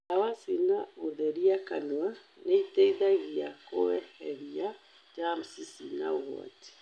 Ndawa cia gũtheria kanua nĩiteithagia kũeheria jamsi cina ũgwati